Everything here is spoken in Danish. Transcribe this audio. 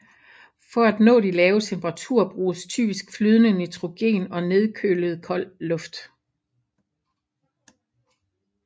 For at nå de lave temperaturer bruges typisk flydende nitrogen og nedkølet koldt luft